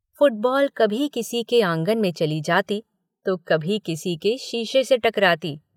Football कभी किसी के आंगन में चली जाती तो कभी किसी के शीशे से टकराती।